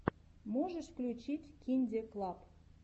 можешь включить кинде клаб